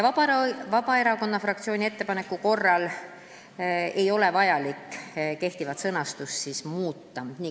Vabaerakonna fraktsiooni ettepaneku arvestamise korral ei ole vaja kehtivat sõnastust muuta.